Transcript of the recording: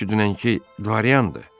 O ki dünənki qaryandı.